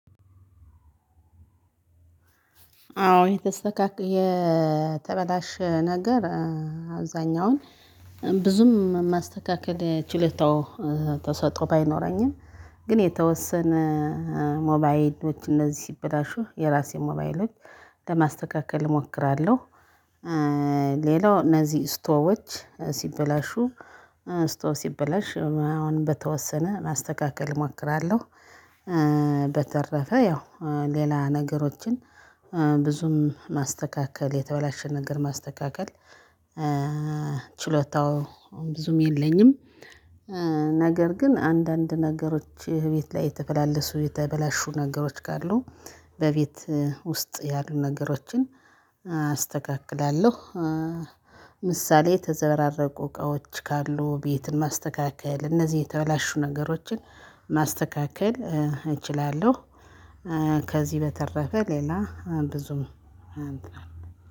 አዎ የተሰካካ የተረዳሽ ነገር አብዛኛውን ብዙም ማስተካከል ችለታው ተሰጥቶ ባይኖረኝም ግን የተወሰነ ሞባይሎች እነዚህ ሲበላሹ የራሴ ሞባይሎች ለማስተካከል እሞክራለሁ። ሌላው እነዚህ ስቶዎች ሲበላሹ ስቶ ሲበላሽ አሁን በተወሰነ ማስተካከል እሞክራለሁ። በተረፈ ያው ሌላ ነገሮችን ብዙም ማስተካከል የተወላሸ ነገር ማስተካከል ችሎታው አሁን ብዙም የለኝም። ነገር ግን አንዳንድ ነገሮች ቤት ላይ የተበላለሱ የተበላሹ ነገሮች ካሉ በቤት ውስጥ ያሉ ነገሮችን አስተካክላለሁ። ምሳሌ የተዘራረቁ እቃዎች ካሉ ቤትን ማስተካከል እነዚህ የተበላሹ ነገሮችን ማስተካከል እችላለሁ። ከዚህ በተረፈ ሌላ ብዙም